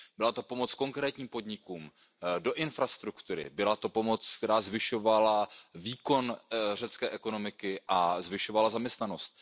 Byla to pomoc konkrétním podnikům, do infrastruktury, byla to pomoc, která zvyšovala výkon řecké ekonomiky a zvyšovala zaměstnanost.